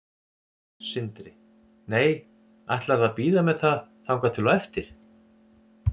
Sindri: Nei, ætlarðu að bíða með það þangað til á eftir?